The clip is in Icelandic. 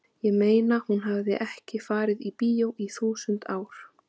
ég meina hún hafði ekki farið í bíó í þúsund ár.